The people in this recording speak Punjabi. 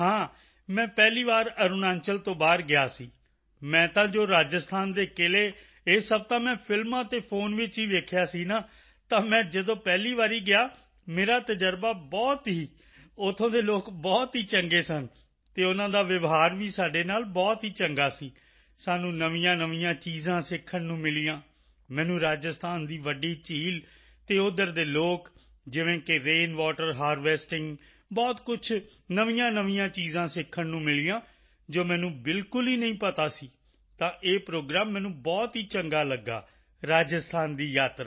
ਹਾਂ ਮੈਂ ਪਹਿਲੀ ਵਾਰ ਅਰੁਣਾਚਲ ਤੋਂ ਬਾਹਰ ਗਿਆ ਸੀ ਮੈਂ ਤਾਂ ਜੋ ਰਾਜਸਥਾਨ ਦੇ ਕਿਲ੍ਹੇ ਇਹ ਸਭ ਤਾਂ ਮੈਂ ਫਿਲਮਾਂ ਅਤੇ ਫੋਨ ਵਿੱਚ ਹੀ ਦੇਖਿਆ ਸੀ ਨਾ ਤਾਂ ਮੈਂ ਜਦੋਂ ਪਹਿਲੀ ਵਾਰੀ ਗਿਆ ਮੇਰਾ ਤਜ਼ਰਬਾ ਬਹੁਤ ਹੀ ਉੱਥੋਂ ਦੇ ਲੋਕ ਬਹੁਤ ਹੀ ਚੰਗੇ ਸਨ ਅਤੇ ਉਨ੍ਹਾਂ ਦਾ ਵਿਵਹਾਰ ਵੀ ਸਾਡੇ ਨਾਲ ਬਹੁਤ ਹੀ ਚੰਗਾ ਸੀ ਸਾਨੂੰ ਨਵੀਆਂਨਵੀਆਂ ਚੀਜ਼ਾਂ ਸਿੱਖਣ ਨੂੰ ਮਿਲੀਆਂ ਮੈਨੂੰ ਰਾਜਸਥਾਨ ਦੀ ਵੱਡੀ ਝੀਲ ਅਤੇ ਉੱਧਰ ਦੇ ਲੋਕ ਜਿਵੇਂ ਕਿ ਰੇਨ ਵਾਟਰ ਹਾਰਵੈਸਟਿੰਗ ਬਹੁਤ ਕੁਝ ਨਵੀਆਂਨਵੀਆਂ ਚੀਜ਼ਾਂ ਸਿੱਖਣ ਨੂੰ ਮਿਲੀਆਂ ਜੋ ਮੈਨੂੰ ਬਿਲਕੁਲ ਹੀ ਪਤਾ ਨਹੀਂ ਸਨ ਤਾਂ ਇਹ ਪ੍ਰੋਗਰਾਮ ਮੈਨੂੰ ਬਹੁਤ ਹੀ ਚੰਗਾ ਲਗਾ ਰਾਜਸਥਾਨ ਦੀ ਯਾਤਰਾ